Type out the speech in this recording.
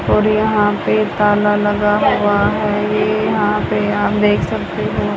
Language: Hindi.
और यहां पे ताला लगा हुआ है। ये यहां पे आप देख सकते हो।